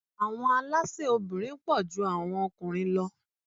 Àwọn alásè obìnrin pọ̀ ju àwọn okùnrin lọ.